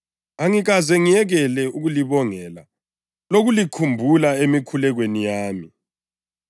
angikaze ngiyekele ukulibongela lokulikhumbula emikhulekweni yami.